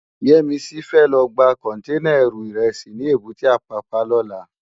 Yemisi fè lò gbá kònténá èrú irèsí ni ébùté Apapa lòlá